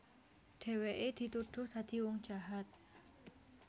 Dhèwèké dituduh dadi wong jahat